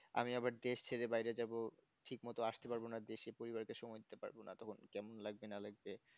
আমি আবার দেশ ছেড়ে বাইরে যাব ঠিকমতো আসতে পারবে না দেশে পরিবারকে সময় দিতে পারবো না তবে একটা কেমন লাগতে না লাগতে